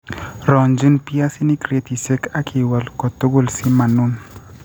ronjin piasinik kretisyek ak iwal kotugul si ma nun